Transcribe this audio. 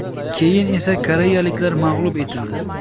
Keyin esa koreyaliklar mag‘lub etildi.